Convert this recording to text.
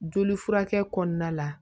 Joli furakɛ kɔnɔna la